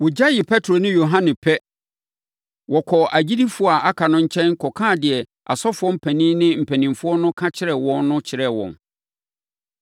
Wɔgyaee Petro ne Yohane pɛ, wɔkɔɔ agyidifoɔ a aka no nkyɛn kɔkaa deɛ asɔfoɔ mpanin ne mpanimfoɔ no ka kyerɛɛ wɔn no kyerɛɛ wɔn.